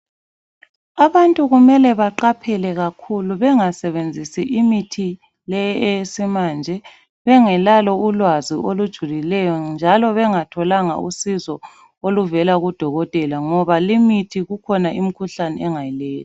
Abantu kumele baqaphele kakhulu bengasebenzisi imithi le eyesimanje bengelalo ulwazi olujulileyo njalo bengatholanga usizo oluvela kudokotela ngoba limithi kukhona imikhuhlane engaleyi.